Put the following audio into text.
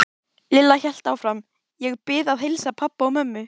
Lilla hélt áfram: Ég bið að heilsa pabba og mömmu.